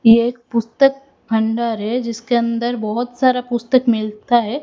ये एक पुस्तक भंडार है जिसके अंदर बहोत सारा पुस्तक मिलता है।